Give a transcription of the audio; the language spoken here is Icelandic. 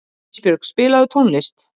Ísbjörg, spilaðu tónlist.